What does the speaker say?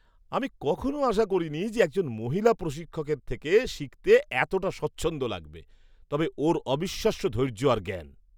আমি কখনও আশা করিনি যে একজন মহিলা প্রশিক্ষকের থেকে শিখতে এতটা স্বচ্ছন্দ লাগবে, তবে ওঁর অবিশ্বাস্য ধৈর্য আর জ্ঞান!